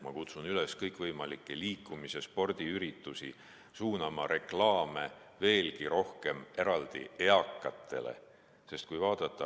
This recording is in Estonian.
Ma kutsun kõikvõimalikke liikumis‑ ja spordiüritusi üles suunama veelgi rohkem eraldi reklaame eakatele.